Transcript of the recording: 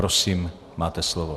Prosím, máte slovo.